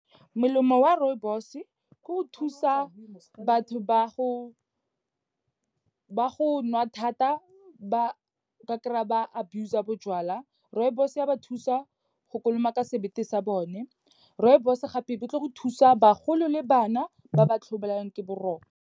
Melemo wa rooibos-e, ke go thusa batho ba go nwa thata ba kry-a ba abuse-a bojalwa. Rooibos-e ya ba thusa go kolomaka sebete sa bone. Rooibos-e gape be etlo go thusa bagolo le bana, ba ba tlhobaelang ke boroko.